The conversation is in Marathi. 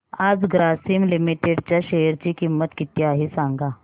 आज ग्रासीम लिमिटेड च्या शेअर ची किंमत किती आहे सांगा